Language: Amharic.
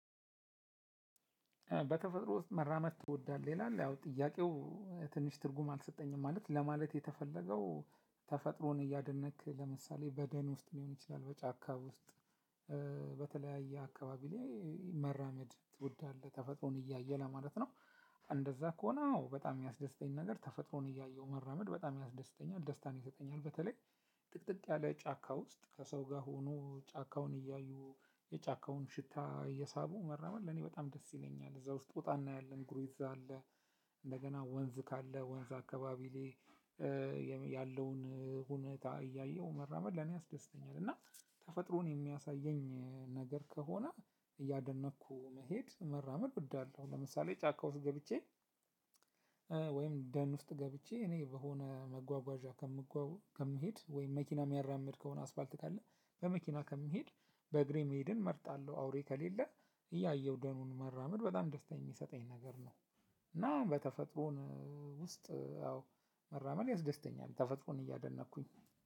በተፈጥሮ ውስጥ መራመድ ትወዳለህ? ይላል ያው ጥያቄው ትንሽ ትርጉም አልሰጠኝም ማለት ለማለት የተፈለገው ተፈጥሮን እያደነቅክ ለምሳሌ በደን ውስጥ ሊሆን ይችላል በጫካብ ውስጥ? አካባቢ ላይ መራመድ ትወዳለህ ተፈጥሮን እያየ ለማለት ነው። እንደዛ ከሆነ አዎ በጣም እሚያስደስተኝ ነገር ተፈጥሮን እያየሁ መራመድ በጣም ያስደስተኛል ደስታን ይሰጠኛል። በተለይ ጥቅጥቅ ያለ ጫካ ውስጥ ከሰው ጋር ሆኖ ጫካውን እያዩ የጫካውን ሽታ እየሳቡ መራመድ ለኔ በጣም ደስ ይለኛል። እዛ ውስጥ ጦጣ እናያለን ጉሬዛ አለ። እደገና ወንዝ ካለ ወንዝ አካባቢ ላይ ያለውን ሁኔታ እያዩ መራመድ ለኔ ያስደስተኛል። እና ተፈጥሮን እሚያሳዬኝ ነገር ከሆነ እያደነኩ መሄድ መራመድ እወዳለሁ። ለምሳሌ ጫካ ውስጥ ገብቼ ወይም ደን ውስጥ ገብቼ እኔ በሆነ መጓጓዣ ከምሄድ ወይም መኪና እሚያራምድ ከሆነ አስፋልት ካለ በመኪና ከሚሄድ በእግሬ መሄድን እመርጣለሁ። አውሬ ከሌለ እያየሁ ደኑን መራመድ በጣም ደስታ የሚሰጠኝ ነገር ነው። እና በተፈጥሮን ውስጥ አዎ መራመድ ያስደስተኛል ተፈጥሮን እያደነቅኩኝ